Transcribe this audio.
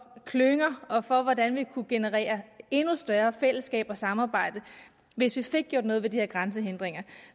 klynger og for hvordan vi kunne generere endnu større fællesskab og samarbejde hvis vi fik gjort noget ved de her grænsehindringer